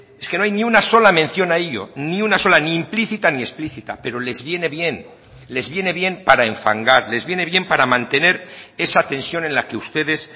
es que no hay ni una sola mención a ello ni una sola ni implícita ni explicita pero les viene bien les viene bien para enfangar les viene bien para mantener esa tensión en la que ustedes